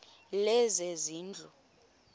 lezezindlu